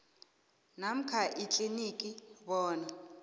namkha ikliniki bona